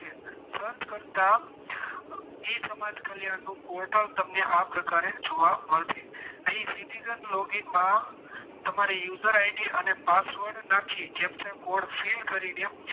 ઈ સમાજ કલ્યાણનું portal તમને આ પ્રકારે જોવા મળશે અહીં citizen logging તમારી user id અને password નાખી captcha code fill કરીને